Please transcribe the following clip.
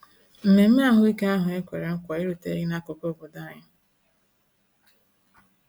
Mmemme ahụike ahụ ekwere nkwa eruteghị n’akụkụ obodo anyị.